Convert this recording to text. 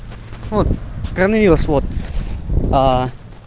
от короавирус вот аа